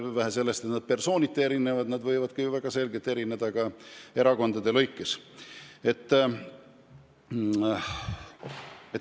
Ja vähe sellest, et need erinevad persooniti, need võivad väga selgelt erineda ka erakondade lõikes.